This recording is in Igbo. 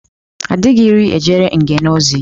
A dịghị iri ejere ngènè ozi.